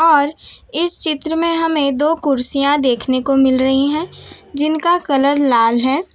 और इस चित्र में हमें दो कुर्सियां देखने को मिल रही हैं जिनका कलर लाल है।